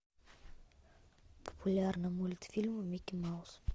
популярный мультфильм микки маус